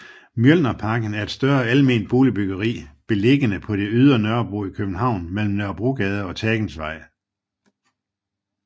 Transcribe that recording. Mjølnerparken er et større alment boligbyggeri beliggende på det ydre Nørrebro i København mellem Nørrebrogade og Tagensvej